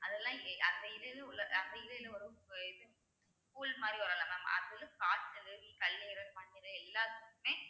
அதெல்லாம் இங்~ அந்த இது இது உள்ள அந்த இது வரும் இது மாதிரி வரும்ல mam அது வந்து காய்ச்சலு, கல்லீரல், மண்ணீரல் எல்லாத்துக்குமே